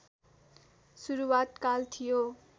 सुरूवात काल थियो